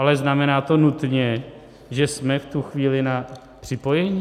Ale znamená to nutně, že jsme v tu chvíli na připojení?